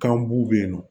Kan bu be yen nɔ